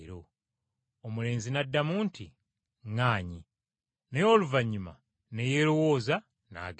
“Omulenzi n’addamu nti, ‘ŋŋaanyi,’ naye oluvannyuma ne yeerowooza n’agenda.